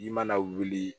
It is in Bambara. I mana wuli